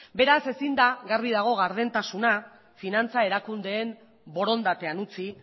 beraz garbi dago ezin dela gardentasuna finantza erakundeen borondatean utzi